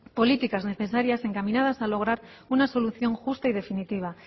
políticas necesarias encaminadas a lograr una solución justa y definitiva